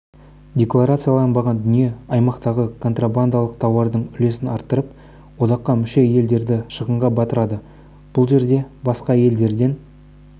декларацияланбаған дүние аймақтағы контрабандалық тауардың үлесін арттырып одаққа мүше елдерді шығынға батырды бұл жерде басқа елдерден